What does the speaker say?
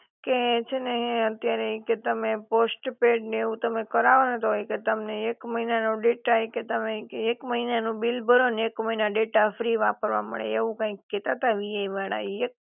કે છે ને હે અત્યારે ઈ કે તમે પોસ્ટપેડ ને એવું તમે કરાવો ને તો ઈ કે એક મહિના નો ડેટા ઈ કે તમે એક મહિના નું બિલ ભરો ને એક મહિના ડેટા ફ્રી વાપરવા મળે એવું કાઈક કેતા હતા વીઆઈ વાળા ઈ